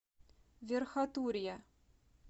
верхотурья